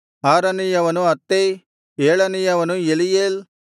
ಆರನೆಯವನು Attai ಏಳನೆಯವನು Eliel